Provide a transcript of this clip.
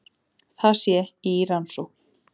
Það sé í rannsókn